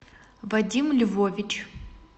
вадим львович